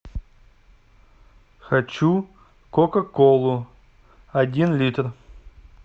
хочу кока колу один литр